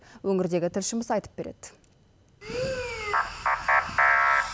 өңірдегі тілшіміз айтып береді